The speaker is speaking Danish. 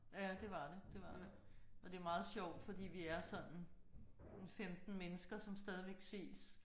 Ja det var det det var det. Og det er meget sjovt fordi vi er sådan en 15 mennesker som stadig ses